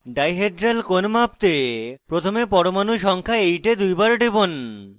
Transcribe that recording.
dihedral কোণ মাপতে প্রথমে পরমাণু সংখ্যা 8 এ দুইবার টিপুন